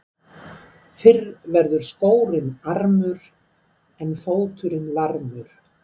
Fyrr verður skórinn armur en fóturinn varmur.